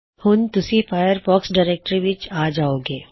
ਹੁਣ ਤੁੱਸੀ Firefox directory ਵਿੱਚ ਆ ਜਾਓਗੇ